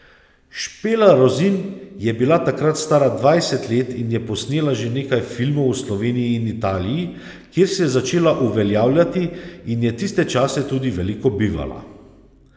Špela Rozin je bila takrat stara dvajset let in je posnela že nekaj filmov v Sloveniji in Italiji, kjer se je začela uveljavljati in je tiste čase tudi veliko bivala.